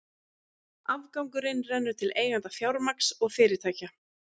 Afgangurinn rennur til eigenda fjármagns og fyrirtækja.